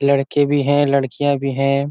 लड़के भी हैं। लडकियाँ भी हैं।